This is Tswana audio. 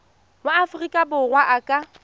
wa aforika borwa a ka